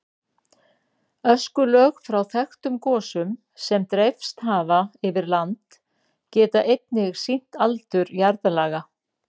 Öskulög frá þekktum gosum sem dreifst hafa yfir land geta einnig sýnt aldur jarðlaga.